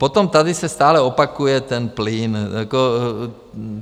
Potom tady se stále opakuje ten plyn.